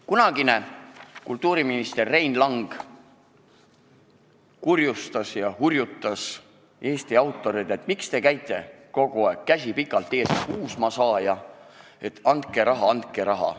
Kunagine kultuuriminister Rein Lang kurjustas ja hurjutas Eesti autoreid, et miks te käite kogu aeg käsi pikalt ees nagu uusmaasaaja, et andke raha, andke raha.